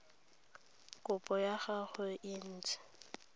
kopo ya gagwe e ntse